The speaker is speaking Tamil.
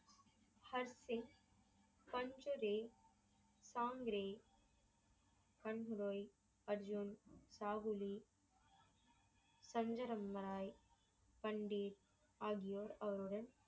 ஹன்சிங் , காங்கிரி , கங்குரோய், அர்ஜூன், சாகுலி, தஞ்சரம் பாய், பண்டித் ஆகியோர் அவர்களுடன்